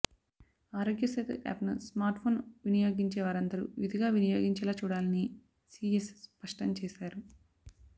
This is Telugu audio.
ఆరోగ్య సేతు యాప్ ను స్మార్ట్ ఫోన్ వినియోగించే వారందరూ విధిగా వినియోగించేలా చూడాలని సిఎస్ స్పష్టం చేశారు